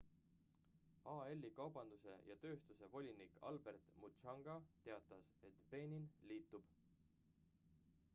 al-i kaubanduse ja tööstuse volinik albert muchanga teatas et benin liitub